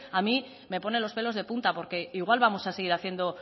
a mí me pone los pelos de punta porque igual vamos a seguir haciendo